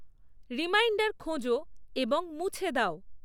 reminder খোঁজো এবং মুছে দাও